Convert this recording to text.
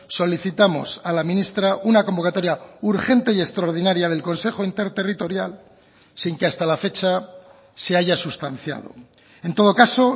solicitamos a la ministra una convocatoria urgente y extraordinaria del consejo interterritorial sin que hasta la fecha se haya sustanciado en todo caso